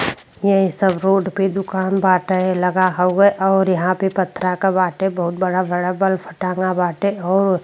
ये सब रोड पे दुकान बाटे लगा हुवे और यहां पथरा के बाटे। बहुत बड़ा बड़ा बल्ब टांगा बाटे और --